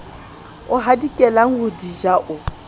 hadikelang ho di ja o